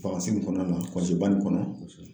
in kɔnɔna na ba nin kɔnɔ